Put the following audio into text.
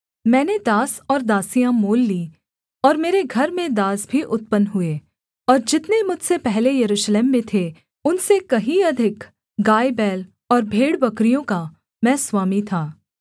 मैंने दास और दासियाँ मोल लीं और मेरे घर में दास भी उत्पन्न हुए और जितने मुझसे पहले यरूशलेम में थे उनसे कहीं अधिक गायबैल और भेड़बकरियों का मैं स्वामी था